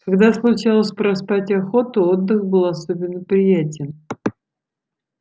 когда случалось проспать охоту отдых был особенно приятен